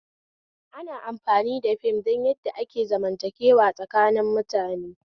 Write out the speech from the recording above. Ana amfani da fim don yadda ake zamantakewa tsakanin mutane